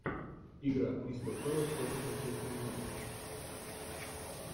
игра кристал пэлас против манчестер юнайтед